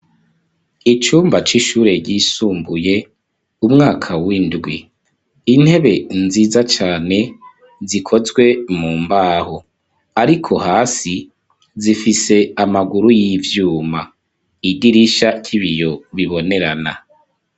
icumba c'ishure ryisumbuye umwaka w'indwi intebe nziza cane zikozwe mu mbaho ariko hasi zifise amaguru y'ivyuma idirisha ry'ibiyo bibonerana.